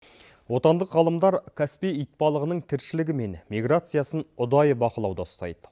отандық ғалымдар каспий итбалығының тіршілігі мен миграциясын ұдайы бақылауда ұстайды